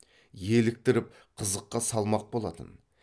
еліктіріп қызыққа салмақ болатын